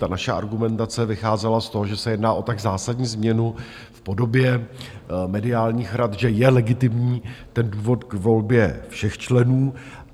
Ta naše argumentace vycházela z toho, že se jedná o tak zásadní změnu v podobě mediálních rad, že je legitimní ten důvod k volbě všech členů.